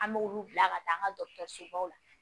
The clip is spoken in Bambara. An b'olu bila ka taa an ka dɔgɔtɔrɔsobaw la